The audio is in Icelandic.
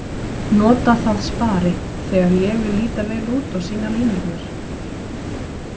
Nota það spari, þegar ég vil líta vel út og sýna línurnar.